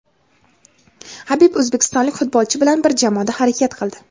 Habib o‘zbekistonlik futbolchi bilan bir jamoada harakat qildi.